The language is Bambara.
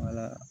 Wala